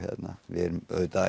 við eigum auðvitað